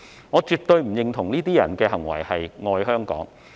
我絕不認同這些人的行為是"愛香港"。